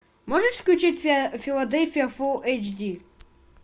можешь включить филадельфия фулл эйч ди